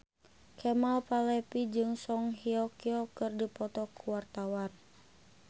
Kemal Palevi jeung Song Hye Kyo keur dipoto ku wartawan